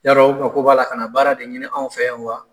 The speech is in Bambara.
Yarɔ o mako b'a la ka na baara de ɲini anw fɛ yan wa?